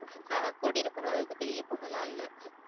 நான் கூட்டிட்டு போற அளவுக்கு பெரிய பொண்ணெல்லாம் இல்ல.